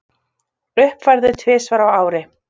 Uppfærður tvisvar á ári.